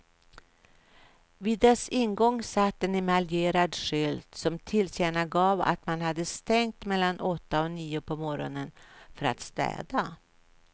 Vid dess ingång satt en emaljerad skylt som tillkännagav att man hade stängt mellan åtta och nio på morgonen för att städa.